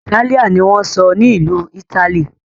Itálíà ní wón sọ ní Ìlu italy.